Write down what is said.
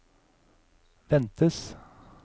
ventes